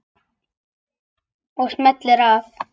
Og smellir af.